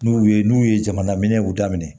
N'u ye n'u ye jamana minɛnw daminɛ